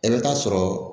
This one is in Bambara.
I bɛ taa sɔrɔ